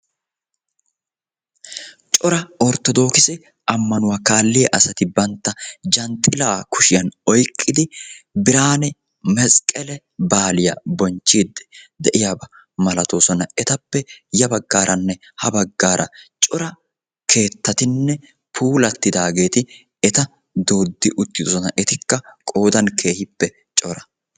cora orttodookise amanuwa kaalliya asati issipe bantta kushiyan zhanxxilaa oyqqidi issippe biidi de'oosona. etikka ziiriyan biidi de'oosona.